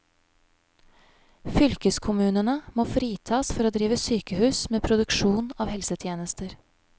Fylkeskommunene må fritas for å drive sykehus med produksjon av helsetjenester.